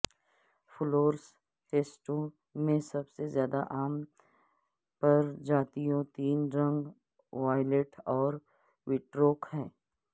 فلورسٹسٹوں میں سب سے زیادہ عام پرجاتیوں تین رنگ وایلیٹ اور وٹروک ہیں